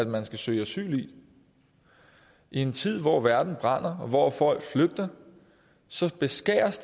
man skal søge asyl i i en tid hvor verden brænder og hvor folk flygter beskæres